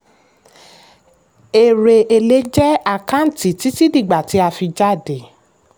èrè èlé jẹ́ àkáǹtì títí dígbà tí a fi jáde.